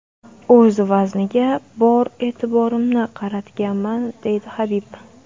O‘z vazniga bor e’tiborimni qaratganman”, deydi Habib.